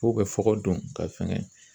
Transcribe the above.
K'u bɛ fɔgɔ don ka fɛngɛ